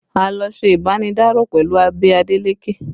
A lọ ṣe ibanidaro pẹ̀lú ẹbí Adeleke